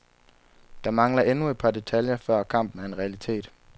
Der mangler endnu et par detaljer, før kampen er en realitet.